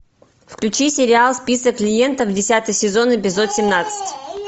включи сериал список клиентов десятый сезон эпизод семнадцать